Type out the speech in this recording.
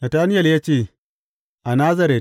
Natanayel ya ce, A Nazaret!